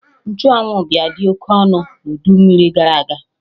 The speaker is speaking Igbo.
Nchụ anwụ bịa dị oke ọnụ na udu mmiri gara aga